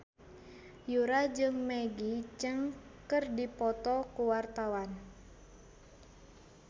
Yura jeung Maggie Cheung keur dipoto ku wartawan